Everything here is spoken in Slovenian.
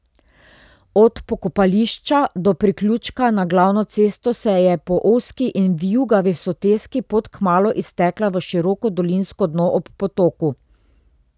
Od pokopališča do priključka na glavno cesto se je po ozki in vijugavi soteski pot kmalu iztekla v široko dolinsko dno ob potoku.